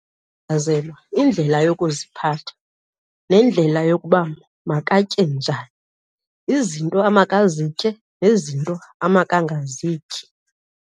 Ndichazelwa indlela yokuziphatha nendlela yokuba makatye njani. Izinto amakazitye nezinto amakangazityi.